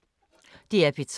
DR P3